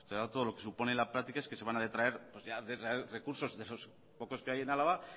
será todo lo que supone en la práctica es que se van a detraer recursos de esos pocos que hay en álava